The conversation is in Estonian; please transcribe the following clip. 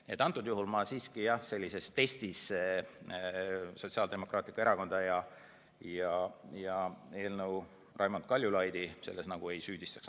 Nii et antud juhul ma sellises testis Sotsiaaldemokraatlikku Erakonda ja Raimond Kaljulaidi ei süüdistaks.